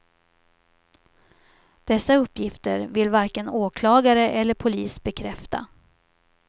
Dessa uppgifter vill varken åklagare eller polis bekräfta.